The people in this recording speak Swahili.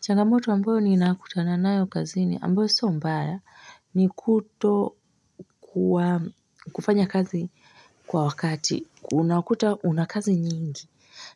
Changamoto ambayo ninakutana nayo kazini ambayo so mbaya ni kutokuwa kufanya kazi kwa wakati unakuta unakazi nyingi